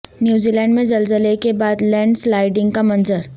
New Zealand میں زلزلے کے بعد لینڈ سلائیڈنگ کا منظر